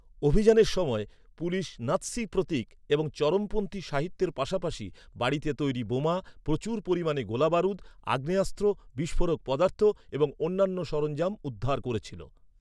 অভিযানের সময়, পুলিশ নাৎসি প্রতীক এবং চরমপন্থী সাহিত্যের পাশাপাশি, বাড়িতে তৈরি বোমা, প্রচুর পরিমাণে গোলাবারুদ, আগ্নেয়াস্ত্র, বিস্ফোরক পদার্থ এবং অন্যান্য সরঞ্জাম উদ্ধার করেছিল।